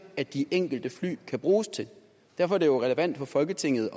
at de enkelte fly kan bruges til derfor er det jo relevant for folketinget